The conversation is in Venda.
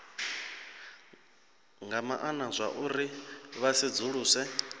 nga maana zwauri vha sedzuluse